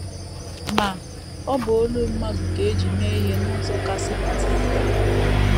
Ma, ọ bụ olu mmadụ ka e ji mee ihe n’ụzọ kasị pụta ìhè.